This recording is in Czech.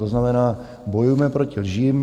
To znamená, bojujme proti lžím.